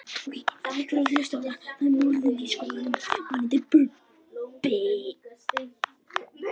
Skyld svör eftir sama höfund